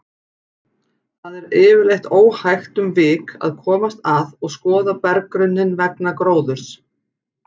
Þar er yfirleitt óhægt um vik að komast að og skoða berggrunninn vegna gróðurs.